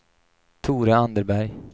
Tore Anderberg